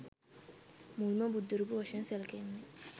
මුල්ම බුද්ධරූප වශයෙන් සැලකෙන්නේ